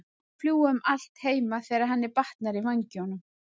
Hún má fljúga um allt heima þegar henni batnar í vængnum.